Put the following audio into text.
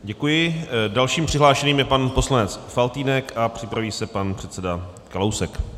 Děkuji, dalším přihlášeným je pan poslanec Faltýnek a připraví se pan předseda Kalousek.